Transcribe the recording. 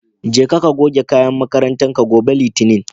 Jeka ka goge kayan makarantar ka. gobe litinin